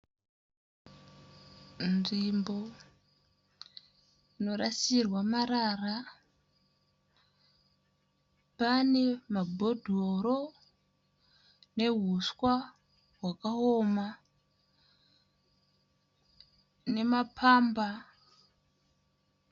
Nzvimbo inorasirwa marara. Pane maBhodhoro neHuswa hwakaoma nemaPamba.